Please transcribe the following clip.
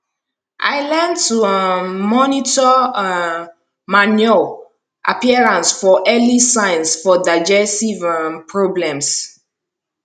i learn to um monitor um manure appearance for early signs for digestive um problems